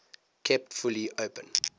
kept fully open